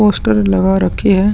Poster लगा रखे है।